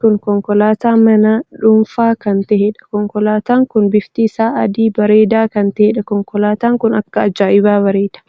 kun konkolaataa mana dhuunfaa kan taheedha. konkolaataan kun bifti isaa adii bareedaa kan taheedha. konkolaatan kun akka ajaa'ibaa bareeda!